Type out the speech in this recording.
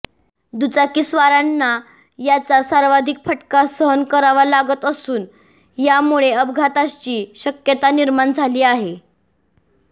दुचाकीस्वारांना याचा सर्वाधिक फटका सहन करावा लागत असून यामुळे अपघाताची शक्यता निर्माण झाली आहे